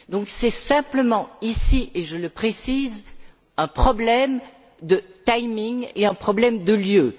Donc, c'est simplement ici, et je le précise, un problème de timing et un problème de lieu.